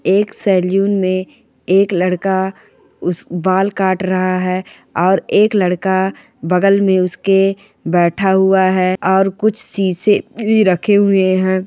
एक सैलून में एक लड़का उस बाल काट रहा हैं और एक लड़का बगल में उसके बैठा हुआ हैं और कुछ शीशे भी रखे हुए हैं।